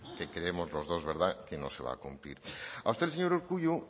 que creemos los dos que no se va a cumplir a usted el señor urkullu